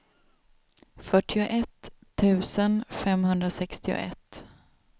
fyrtioett tusen femhundrasextioett